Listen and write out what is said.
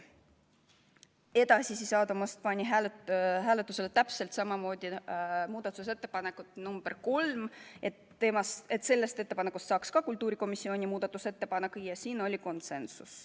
Seejärel Aadu Must pani hääletusele muudatusettepaneku nr 3, et sellest ettepanekust saaks ka kultuurikomisjoni muudatusettepanek, ja siin oli konsensus.